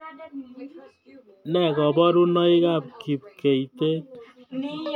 Ne koborunoikab kipkeitet